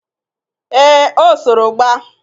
Ee, o soro gba